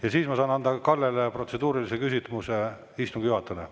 Ja siis ma saan anda Kallele protseduurilise küsimuse istungi juhatajale.